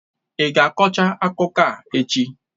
Ị ga-akọcha akụkọ a echi?